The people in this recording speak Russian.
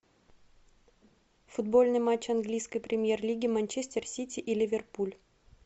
футбольный матч английской премьер лиги манчестер сити и ливерпуль